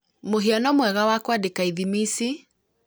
mũhiano mwega wa kwandĩka ithimi ici